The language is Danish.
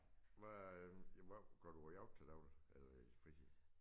Hvad øh hvad går du og laver til daglig eller i fritid